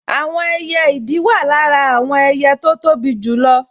Àwọn ẹyẹ ìdì wà lára àwọn ẹyẹ tó tóbi jù